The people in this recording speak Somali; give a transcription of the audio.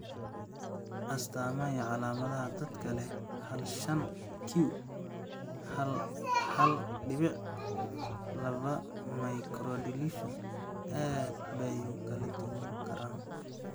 astamaha iyo calaamadaha dadka leh hal shan q hal hal dibic labaa mikrodeletion aad bay u kala duwanaan karaan.